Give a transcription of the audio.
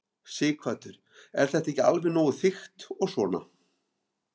Sighvatur: Er þetta ekki alveg nógu þykkt og svona?